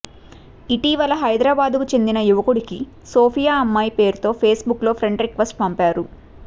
ఇటీవల హైదరాబాద్కు చెందిన యువకుడికి సోఫియా అమ్మాయి పేరుతో ఫేస్బుక్లో ఫ్రెండ్ రిక్వెస్ట్ పంపారు